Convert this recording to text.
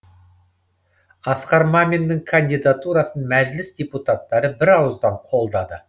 асқар маминнің кандидатурасын мәжіліс депутаттары бірауыздан қолдады